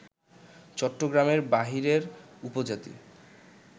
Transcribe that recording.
চট্টগ্রামের বাইরের উপজাতি